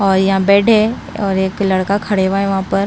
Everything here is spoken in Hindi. और यहां बेड है और एक लड़का खड़े हुआ है वहां पर।